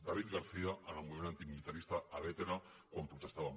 david garcía en el moviment antimilitarista a bétera quan protestàvem